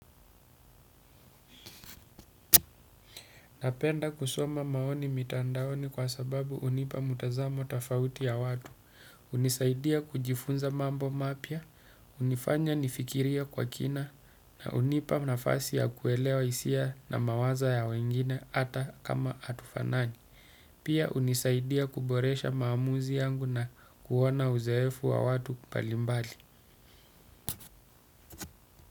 Napenda kusoma maoni mitandaoni kwa sababu hunipa mtazamo tofauti ya watu, hunisaidia kujifunza mambo mapya, hunifanya nifikirie kwa kina, na hunipa nafasi ya kuelewa hisia na mawazo ya wengine hata kama hatufanani. Pia hunisaidia kuboresha maamuzi yangu na kuona uzoefu wa watu mbalimbali.